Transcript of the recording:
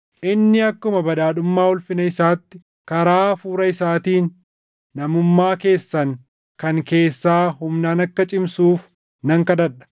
Inni akkuma badhaadhummaa ulfina isaatti karaa Hafuura isaatiin namummaa keessan kan keessaa humnaan akka cimsuuf nan kadhadha;